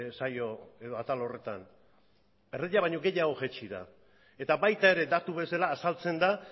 saio edo atal horretan erdia baino gehiago jaitsi da eta baita ere datu bezala azaltzen da